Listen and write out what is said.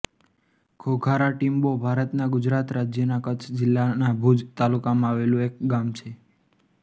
ઘોઘારા ટીંબો ભારતના ગુજરાત રાજ્યના કચ્છ જિલ્લાના ભુજ તાલુકામાં આવેલું એક ગામ છે